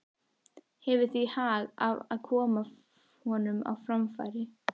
Hefur því hag af að koma honum á framfæri.